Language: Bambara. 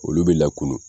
Olu bɛ lakunu